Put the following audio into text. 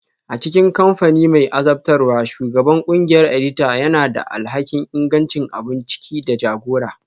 A cikin kamfani mai azabtarwa, Shugaban ƙungiyar edita yana da alhakin ingancin abun ciki da jagora